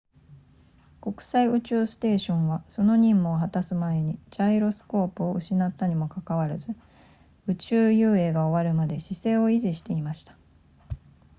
国際宇宙ステーションはその任務を果たす前にジャイロスコープを失ったにもかかわらず宇宙遊泳が終わるまで姿勢を維持していました